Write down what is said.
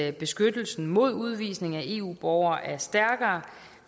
at beskyttelsen mod udvisning af eu borgere er stærkere